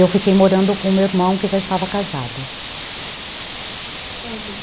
Eu fiquei morando com o meu irmão que já estava casado.